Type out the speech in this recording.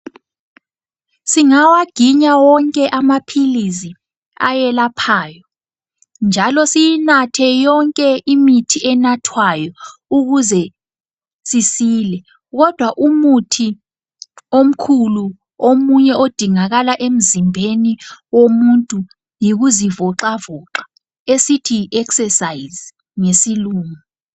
Singawaginya wonke amaphilizi ayelaphayo njalo siyinathe yonke imithi enathwayo ukuze sisile kodwa umuthi omkhulu omunye odingakala emzimbeni womuntu yikuzivoxavoxa esithi yi exercise ngesilungu.